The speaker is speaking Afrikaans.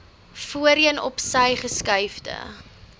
voorheen opsy geskuifde